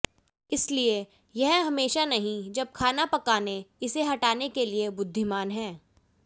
इसलिए यह हमेशा नहीं जब खाना पकाने इसे हटाने के लिए बुद्धिमान है